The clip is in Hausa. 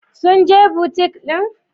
Sun je butik din?